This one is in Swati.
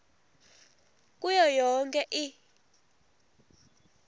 kuyo yonkhe i